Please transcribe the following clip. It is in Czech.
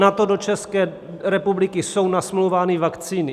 Na to do České republiky jsou nasmlouvány vakcíny.